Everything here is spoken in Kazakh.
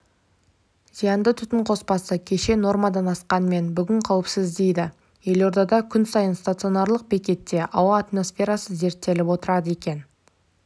зиянды түтін қоспасы кеше нормадан асқанымен бүгін қауіпсіз дейді елордада күн сайын станционарлық бекетте ауа атмосферасы зерттеліп отырады екен